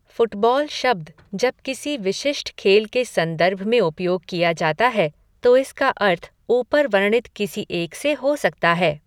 Football शब्द, जब किसी विशिष्ट खेल के संदर्भ में उपयोग किया जाता है, तो इसका अर्थ ऊपर वर्णित किसी एक से हो सकता है।